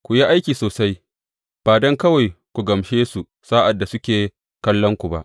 Ku yi aiki sosai, ba don kawai ku gamshe su sa’ad da suke kallonku ba.